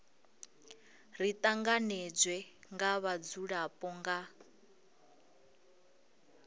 ri tanganedzwe nga vhadzulapo nga